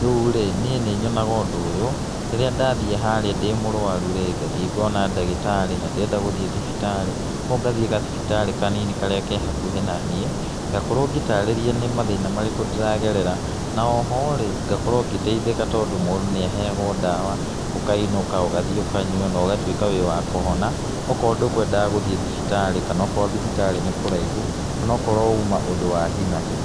rĩu rĩ, niĩ nĩ nyonaga ũndũ ũyũ, rĩrĩa ndathiĩ harĩa ndĩ mũrwaru-rĩ, ngathiĩ ngona ndagĩtarĩ, na ndirenda gũthiĩ thibitarĩ, kũguo ngathiĩ gathibitarĩ kanini karĩa ke hakuhĩ naniĩ, ngakorwo ngĩtarĩrio nĩ mathĩna marĩkũ ndĩragerera, na oho rĩ, ngakorwo ngĩteithĩka tondũ mũndũ nĩ aheagwo ndawa ũkainũka, ũgathiĩ ũkanya na ũgatuĩka wĩ wa kũhona, okorwo ndũkũnedaga gũthiĩ thibitarĩ kana okorwo thibitarĩ nĩ kũraihu, kana okorwo uma ũndũ wa hi na hi.